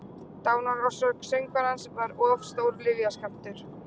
Dánarorsök söngvarans var of stór lyfjaskammtur